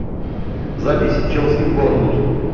запись челси борнмут